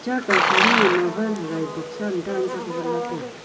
cha kau sam nang ee mobine hagai boxam dan zak vatla taiga.